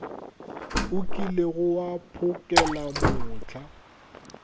o kilego wa mphokela mohla